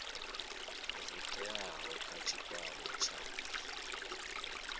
zwo teaho kha tshikwama tsha